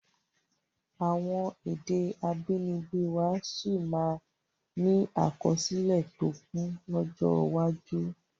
Àwọn èdè abínibí wá sí máa ni àkọsílẹ̀ tó kún lọ́jọ́ iwájú